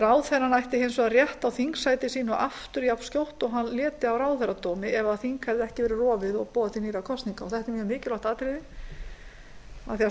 ráðherrann ætti hins vegar rétt á þingsæti sínu aftur jafnskjótt og hann léti af ráðherradómi ef þing hefði ekki verið rofið og boðað til nýrra kosninga þetta er mjög mikilvægt atriði af því að